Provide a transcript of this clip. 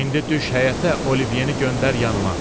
İndi düş həyətə, Olivyeni göndər yanıma.